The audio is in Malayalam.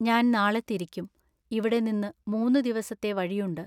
ഞാൻ നാളെ തിരിക്കും. ഇവിടെ നിന്നു മൂന്നു ദിവസത്തെ വഴിയുണ്ട്.